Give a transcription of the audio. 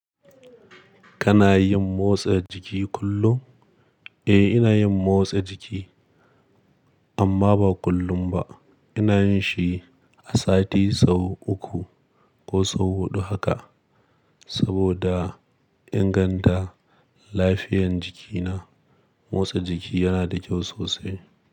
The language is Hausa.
Kana yin motsa jiki kullum? Eh, ina yin motsa jiki amma ba kullum ba. Ina yin shi a sati sau uku ko sau huɗu haka. Saboda inganta lafiyan jikina, motsa jiki yana da kyau sosai.